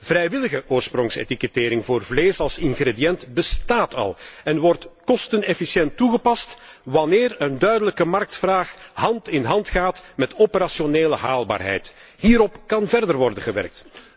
Vrijwillige oorsprongsetikettering voor vlees als ingrediënt bestaat al en wordt kostenefficiënt toegepast, wanneer een duidelijke marktvraag hand in hand gaat met operationele haalbaarheid. Hierop kan verder worden gewerkt.